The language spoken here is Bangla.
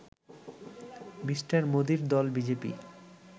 মি. মোদীর দল বিজেপি